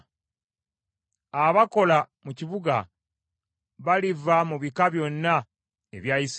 Abakola mu kibuga baliva mu bika byonna ebya Isirayiri.